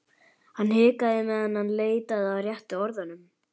Hann hikaði á meðan hann leitaði að réttu orðunum.